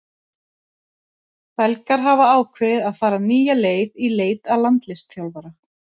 Belgar hafa ákveðið að fara nýja leið í leit að landsliðsþjálfara.